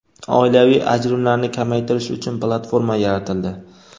Oilaviy ajrimlarni kamaytirish uchun platforma yaratildi.